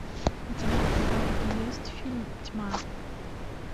у тебя в каталоге есть фильм тьма